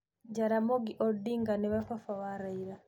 Jaramogi Odinga nĩwe baba wa Raila.